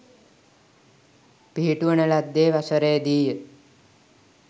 පිහිටුවන ලද්දේ වසරේදීය.